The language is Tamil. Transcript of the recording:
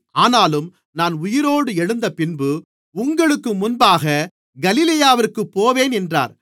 ஆனாலும் நான் உயிரோடு எழுந்தபின்பு உங்களுக்கு முன்பாக கலிலேயாவிற்குப் போவேன் என்றார்